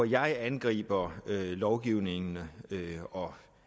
jeg angriber lovgivningen og